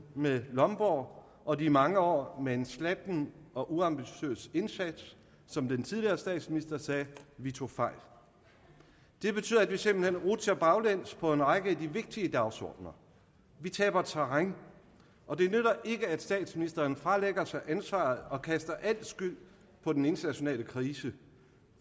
med lomborg og de mange år med en slatten og uambitiøs indsats som den tidligere statsminister sagde vi tog fejl det betyder at vi simpelt hen rutsjer baglæns på en række af de vigtige dagsordener vi taber terræn og det nytter ikke at statsministeren fralægger sig ansvaret og kaster al skyld på den internationale krise